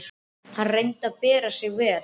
Hann reyndi að bera sig vel.